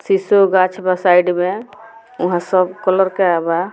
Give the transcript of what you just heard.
सिसो गाछ बा साइड में उहाँ सब कलर केएल बा।